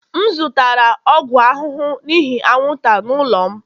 M zụtara ọgwụ ahụhụ n'ihi anwụnta n'ụlọ m